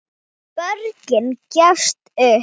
Borgin gafst upp.